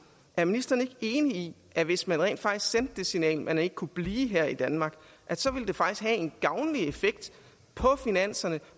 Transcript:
er ministeren ikke enig i at hvis man rent faktisk sendte det signal man ikke kunne blive her i danmark så ville det faktisk have en gavnlig effekt på finanserne